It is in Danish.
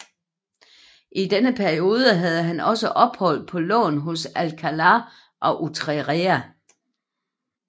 I denne periode havde han også ophold på lån hos Alcalá og Utrera